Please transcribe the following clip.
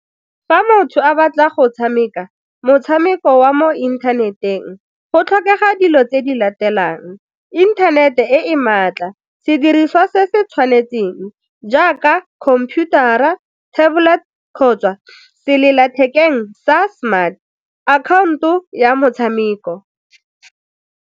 Fa motho a batla go tshameka motshameko wa mo inthaneteng go tlhokega dilo tse di latelang, inthanete e e maatla, sediriswa se se tshwanetseng jaaka computer-ra, tablet kgotsa sellathekeng sa smart, account-o ya motshameko.